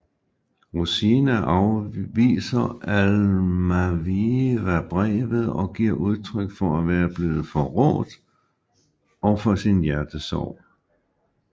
Rosina viser Almaviva brevet og giver udtryk for at være blevet forrådt og for sin hjertesorg